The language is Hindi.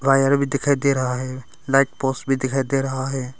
वायर भी दिखाई दे रहा है लाइट पोस्ट भी दिखाई दे रहा है।